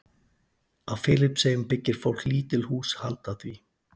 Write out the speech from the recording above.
Á Filippseyjum byggir fólk lítil hús handa því.